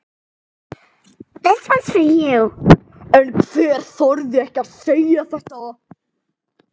En hann þorði ekki að segja þetta.